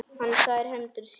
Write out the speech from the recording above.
Hann þvær hendur sínar.